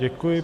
Děkuji.